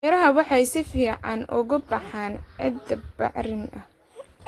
Miraha waxay si fiican uga baxaan ciidda bacrin ah.